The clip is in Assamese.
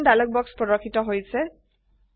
অপশ্যন ডায়লগ বাক্স প্ৰৰ্দশিত হৈছে